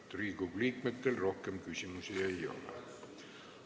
Riigikogu liikmetel rohkem küsimusi ei ole.